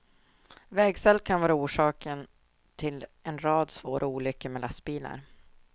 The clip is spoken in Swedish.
Vägsalt kan vara orsaken till en rad svåra olyckor med lastbilar.